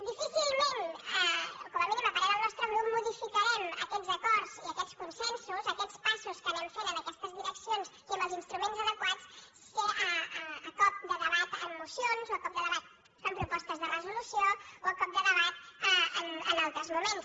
difícilment o com a mínim a parer del nostre grup modificarem aquests acords i aquests consensos aquests passos que anem fent en aquestes direccions i amb els instruments adequats a cop de debat en mocions o a cop de debat en propostes de resolució o a cop de debat en altres moments